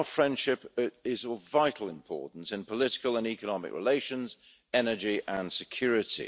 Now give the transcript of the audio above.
Our friendship is of vital importance in political and economic relations, energy and security.